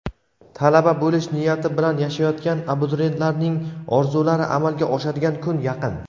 talaba bo‘lish niyati bilan yashayotgan abituriyentlarning orzulari amalga oshadigan kun yaqin.